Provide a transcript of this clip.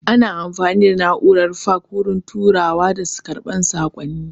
Ana amfani da na'urar faks wurin turawa da karɓar saƙonni